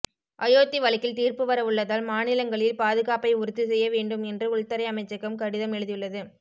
அயோத்தி வழக்கில் தீர்ப்பு வர உள்ளதால் மாநிலங்களில் பாதுகாப்பை உறுதி செய்ய வேண்டும் என்று உள்துறை அமைச்சகம் கடிதம் எழுதியுள்ளது